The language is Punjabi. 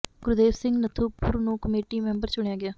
ਗੁਰਦੇਵ ਸਿੰਘ ਨੱਥੂ ਪੁਰ ਨੂੰ ਕਮੇਟੀ ਮੈਂਬਰ ਚੁਣਿਆ ਗਿਆ